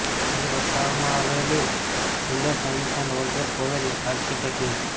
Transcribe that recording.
અહીં દર્શાવવામાં આવેલું સુંદર શયનખંડ વોલ્ટર પોવેલ આર્કિટેક્ટ ઇન્ક